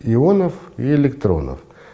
ионов и электронов